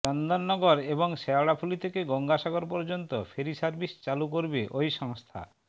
চন্দননগর এবং শেওড়াফুলি থেকে গঙ্গাসাগর পর্যন্ত ফেরি সার্ভিস চালু করবে ওই সংস্থা